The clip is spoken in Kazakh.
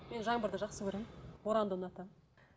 мен жаңбырды жақсы көремін боранды ұнатамын